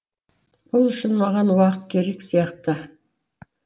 бұл үшін маған уақыт керек сияқты